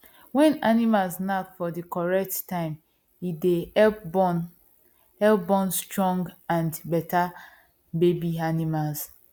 when animals knack for the correct time e dey help born help born stronge and better baby animals